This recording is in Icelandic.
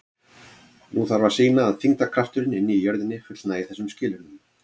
Nú þarf að sýna að þyngdarkrafturinn inni í jörðinni fullnægi þessum skilyrðum.